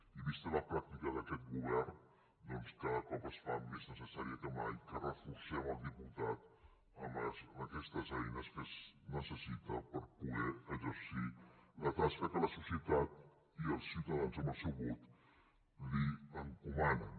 i vista la pràctica d’aquest govern doncs cada cop es fa més necessari que mai que reforcem el diputat amb aquestes eines que necessita per poder exercir la tasca que la societat i els ciutadans amb el seu vot li encomanen